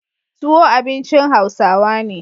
Tuwo abincin Hausawa ne.